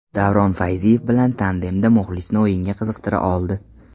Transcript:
Davron Fayziyev bilan tandemda muxlisni o‘yinga qiziqtira oldi.